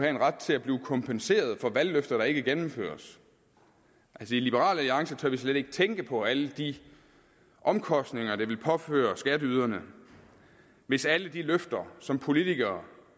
en ret til at blive kompenseret for valgløfter der ikke gennemføres i liberal alliance tør vi slet ikke tænke på alle de omkostninger det ville påføre skatteyderne hvis alle de løfter som politikere